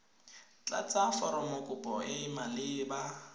tlatsa foromokopo e e maleba